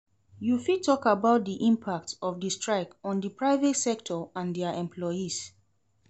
You fit talk about di impact of di strike on di private sector and dia employees.